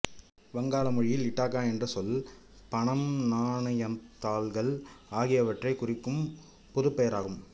வங்காள மொழியில் இட்டாக்கா என்ற சொல் பணம்நாணயம்தாள்கள் ஆகியவற்றைக் குறிக்கும் பொதுப் பெயராகும்